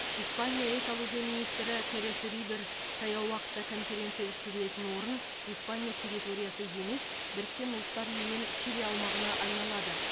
испания экология министрі терес рибер таяу уақытта конференция өткізілетін орын испания территориясы емес біріккен ұлттар ұйымы мен чили аумағына айналады